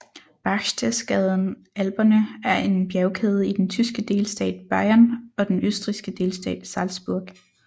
Berchtesgaden Alperne er en bjergkæde i den tyske delstat Bayern og den østrigske delstat Salzburg